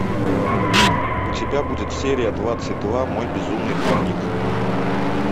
у тебя будет серия двадцать два мой безумный дневник